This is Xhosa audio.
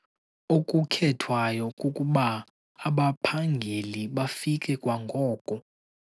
Okukhethwayo kukuba abaphangeli bafike kwangoko.